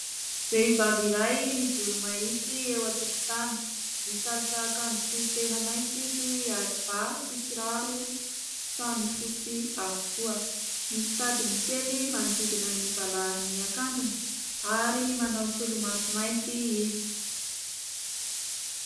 Vehivavy iray mijoro mahitsy eo antokotany ; misalotra akanjo tohy tena maintso izy ary ba sy kiraro samy fotsy avokoa, misy tadiny kely manodidina ny valahan'ny akanjony ary manao solomaso mainty izy.